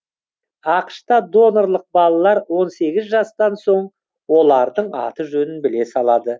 ақш та донорлық балалар он сегіз жастан соң олардың аты жөнін біле салады